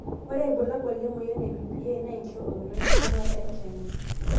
ore ilbulabul linamoyian e ABPA na enkiroket wenkibungata enkyanget.